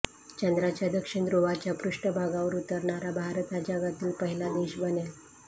चंद्राच्या दक्षिण ध्रुवाच्या पृष्ठभागावर उतरणारा भारत हा जगातील पहिला देश बनेल